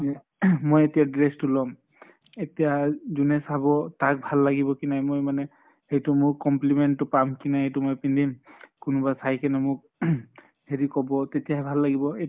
মোৰ ing মই এতিয়া dress তো লম। এতিয়া যোনে চাব তাক ভাল লাগিব কি নাই মই মানে সেইটো মোক compliment তো পাম কি নাই এইটো মই পিন্ধিম। কোনোবা চাই কিনে মোক ing হেৰি কʼব তেতিয়াহে ভাল লাগিব